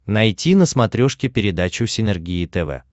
найти на смотрешке передачу синергия тв